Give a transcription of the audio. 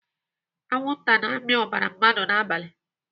Anwụnta na-amị ọbara mmadụ n'abalị.